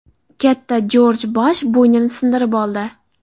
Katta Jorj Bush bo‘ynini sindirib oldi.